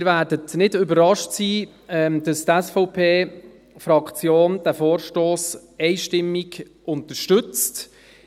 Sie werden nicht überrascht sein, dass die SVP-Fraktion diesen Vorstoss einstimmig unterstützt.